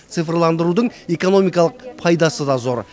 цифрландырудың экономикалық пайдасы да зор